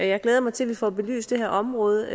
jeg glæder mig til at vi får belyst det her område